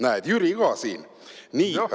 Näed, Jüri ka siin!